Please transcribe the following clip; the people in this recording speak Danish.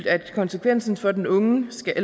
at konsekvensen for den unge skal